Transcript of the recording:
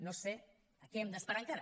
no sé a què hem d’esperar encara